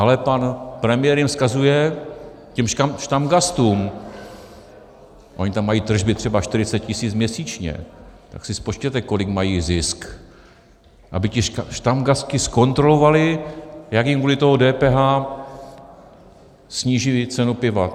Ale pan premiér jim vzkazuje, těm štamgastům, oni tam mají tržby třeba 40 tisíc měsíčně, tak si spočtěte, kolik mají zisk, aby ti štamgasti zkontrolovali, jak jim kvůli tomu DPH sníží cenu piva.